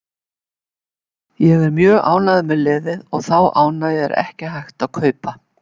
Ég er mjög ánægður með liðið og þá ánægju er ekki hægt að kaupa.